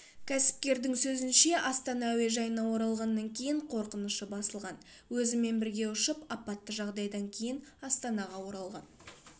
кәсіпкердің сөзінше астана әуежайына оралғаннан кейін қорқынышы басылған өзімен бірге ұшып апатты жағдайдан кейін астанаға оралған